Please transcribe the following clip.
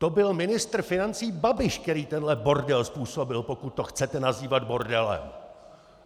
To byl ministr financí Babiš, který tenhle bordel způsobil, pokud to chcete nazývat bordelem!